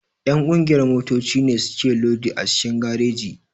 Ƴan ƙungiyar motoci ne suke lodi a cikin gareji.